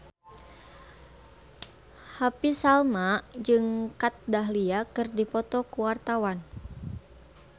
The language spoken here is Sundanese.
Happy Salma jeung Kat Dahlia keur dipoto ku wartawan